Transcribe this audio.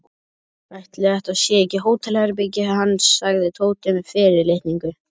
Ætli þetta sé ekki hótelherbergið hans sagði Tóti með fyrirlitningu.